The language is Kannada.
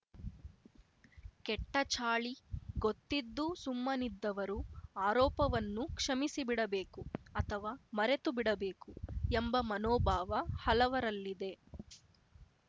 ಕೆಟ್ಟಚಾಳಿ ಗೊತ್ತಿದ್ದೂ ಸುಮ್ಮನಿದ್ದವರು ಆರೋಪವನ್ನು ಕ್ಷಮಿಸಿಬಿಡಬೇಕು ಅಥವಾ ಮರೆತುಬಿಡಬೇಕು ಎಂಬ ಮನೋಭಾವ ಹಲವರಲ್ಲಿದೆ